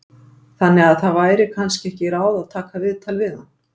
Þannig að það væri kannski ekki ráð að taka viðtal við hann?